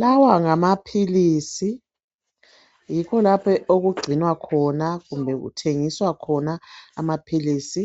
Lawa ngamaphilisi yikho lapho okugcinwa khona kumbe kuthengiswa khona amaphilisi